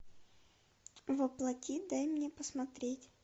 воплоти дай мне посмотреть